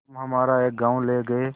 तुम हमारा एक गॉँव ले गये